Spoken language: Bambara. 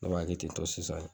Ne b'a kɛ tentɔ sisan.